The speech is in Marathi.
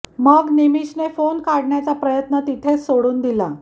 मग निमिषने फोन काढण्याचा प्रयत्न तिथेच सोडून दिला